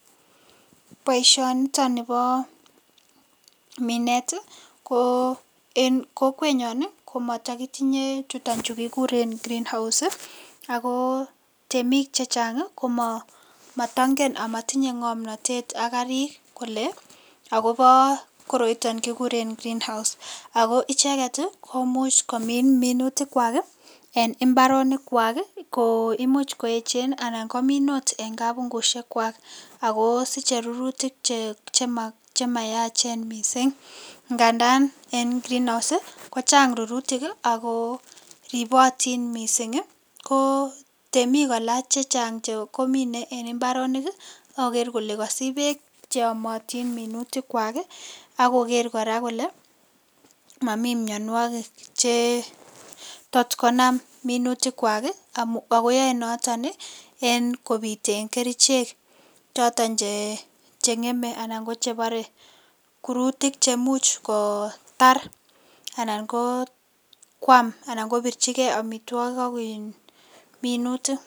Boisionitoni bo minet ii, ko en kokwenyon ii ko matakitinye chuton chu kikuren greenhouse ii, ako temik che chang ii ko matangen amatinye ngomnotet ak karik kole akobo koroiton kikure greenhouse. Ako icheket ii komuch komin minutikwak ii, eng imbaronikwak ii ko imuch koechen anan komin ot en kabungushekwak ako siche rurutik che mayachen mising, ngandan en greenhouse ii ko chang rurutik ii ako ribotin mising ii, ko temik kora che chang komine en imbaronik akoker kole kasich peek che yomotin minutikwak ii, akoker kora kole mami mionwogik che tot konam minutikwak ii, akoyoe noton ii en kopiten kerichek choton che ngeme anan ko che bore kurutik che much kotar anan kokwam anan kobirchigei amitwogik ak minutik.